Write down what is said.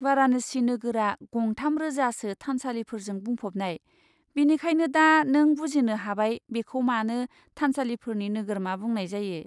बाराणसि नोगोरा गं थाम रोजासो थानसालिफोरजों बुंफबनाय, बेनिखायनो दा नों बुजिनो हाबाय बेखौ मानो 'थानसालिफोरनि नोगोरमा' बुंनाय जायो।